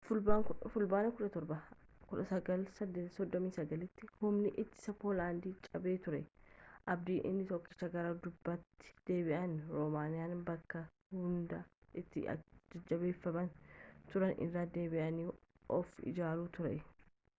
fulbaana17 1939’tti humni ittisaa poolaand cabee ture abdiin inni tokkichi gara duubaatti deebi’anii roomaaniyaa bakka hundee itti jabeeffatanii turanitti irra deebi’anii of ijaaruu ture